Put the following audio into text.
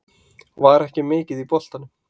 Var ekki mikið í boltanum.